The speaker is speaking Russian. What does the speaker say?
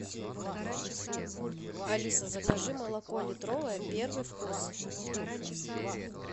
алиса закажи молоко литровое первый вкус